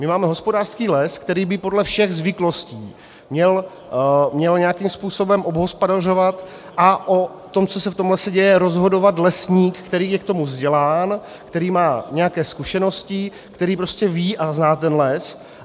My máme hospodářský les, který by podle všech zvyklostí měl nějakým způsobem obhospodařovat, a o tom, co se v tom lese děje, rozhodovat lesník, který je k tomu vzdělán, který má nějaké zkušenosti, který prostě ví a zná ten les.